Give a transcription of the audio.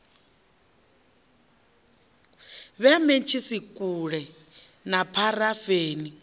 vhea mentshisi kule na pharafeni